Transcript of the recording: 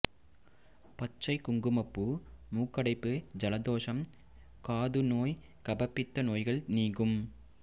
பச்சைக் குங்குமப்பூ மூக்கடைப்பு ஜலதோஷம் காது நோய் கபபித்த நோய்கள் நீங்கும்